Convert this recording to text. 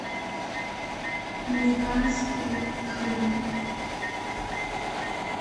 американские фильмы